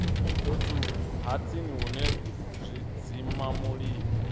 fhethu ha tsini hune zwidzimamulilo